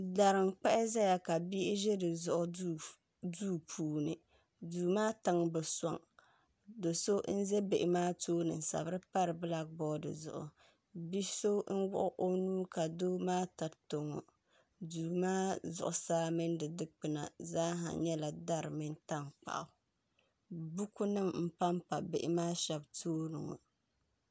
Dari n-kpahi zaya ka bihi ʒi di zuɣu duu puuni duu maa tiŋa bi sɔŋ do' so n-za bihi maa tooni n-sabiri pari bilaki boodi zuɣu bi' so n-wuɣi o nuu ka doo maa tiriti o ŋɔ duu maa zuɣusaa mini di dikpuna zaa nyɛla dari mini tankpaɣu bukunima m-pampa bihi maa shɛba tooni ŋɔ